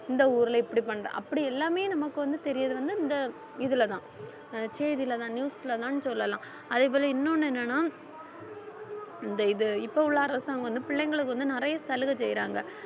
இந்த ஊர்ல, இப்படி பண்ற அப்படி எல்லாமே நமக்கு வந்து தெரியறது வந்து இந்த இதுலதான் ஆஹ் செய்தியிலதான் news லதான்னு சொல்லலாம் அதே போல இன்னொன்னு என்னன்னா இந்த இது இப்ப உள்ள அரசாங்கம் வந்து பிள்ளைங்களுக்கு வந்து நிறைய சலுகை செய்யறாங்க